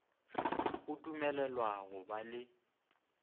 o dumelelwa go ba le